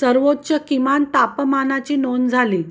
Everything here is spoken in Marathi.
सर्वोच्च किमान तापमानाची नोंद झाली